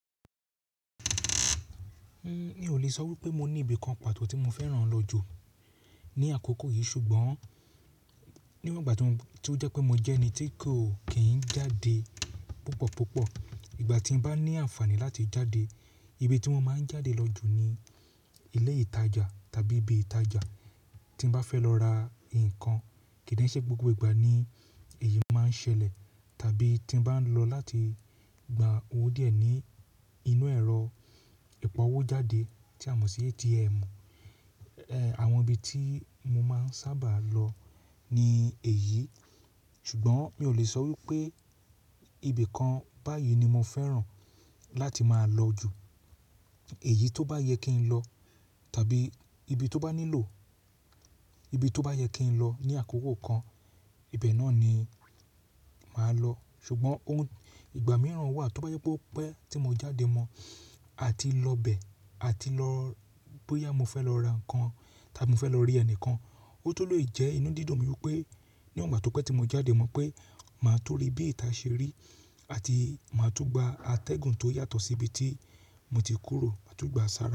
N ò lè sọ wípé mo ní ibìkan pàtó tí mo fẹ́ràn lọ jù ní àkókò yìí ṣùgbọ́n níwòn ìgbà to, to jẹ́ pé mo jẹ́ ẹni tí ko ki ń jáde púpọ̀púpọ̀, ìgbà tí n bá ní àǹfààní láti jáde, ibi tí mo máa ń jáde lọ jù ni ilé ìtajà tàbí ibi ìtajà tí n bá fẹ́ lọ ra nǹkan kí n de ṣe gbogbo ìgbà ni èyí máa ń ṣẹlẹ̀ tàbí tí n bá ń lọ láti gba owó díẹ̀ ní inú ẹ̀rọ ìpa owó jáde tí a mọ̀ sí ATM. E. Àwọn ibi tí mo máa ń sábà lọ ni èyí, ṣùgbọ́n mi ò lè sọ wípé ibi kan báyìí ni mo fẹ́ràn láti máa lọ jù. Èyí tó bá yẹ kí n lọ tàbí ibi tó bá nílò, ibi tó bá yẹ kí n lọ ní àkókò kan, ibẹ̀ náà ni màá lọ. Ṣùgbọ́n ohun, ìgbà mìíràn wà tó bá yẹ pé o pe tí mo jáde mọ́ àti lọ bẹ̀ àti lọ bóyá mo fẹ́ lọ ra ǹnkan tàbí mo fẹ́ lọ rí ẹnìkan, ó tun lè jẹ́ inú dídun mi wípé níwòn ìgbà tó pẹ́ tí mo jáde mọ́ pé màá tó rí bí ìta ṣe rí àti màá tun gba atẹ́gùn tó yàtọ̀ sí ibi tí mo ti kúrò, màá tun gba ṣára.